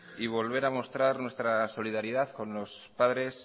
y volver a mostrar nuestra solidaridad con los padres